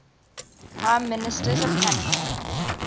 prime ministers of canada